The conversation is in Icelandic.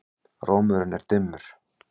Rómurinn er dimmur.